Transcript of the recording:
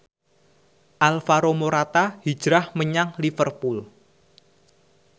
Alvaro Morata hijrah menyang Liverpool